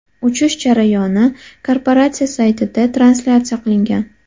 Uchish jarayoni korporatsiya saytida translyatsiya qilingan.